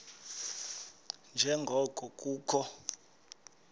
nje ngoko kukho